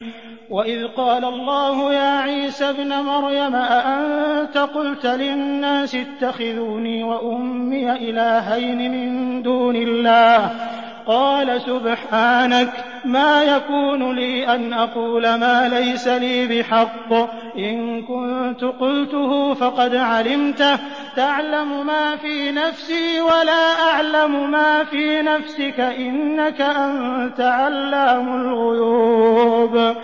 وَإِذْ قَالَ اللَّهُ يَا عِيسَى ابْنَ مَرْيَمَ أَأَنتَ قُلْتَ لِلنَّاسِ اتَّخِذُونِي وَأُمِّيَ إِلَٰهَيْنِ مِن دُونِ اللَّهِ ۖ قَالَ سُبْحَانَكَ مَا يَكُونُ لِي أَنْ أَقُولَ مَا لَيْسَ لِي بِحَقٍّ ۚ إِن كُنتُ قُلْتُهُ فَقَدْ عَلِمْتَهُ ۚ تَعْلَمُ مَا فِي نَفْسِي وَلَا أَعْلَمُ مَا فِي نَفْسِكَ ۚ إِنَّكَ أَنتَ عَلَّامُ الْغُيُوبِ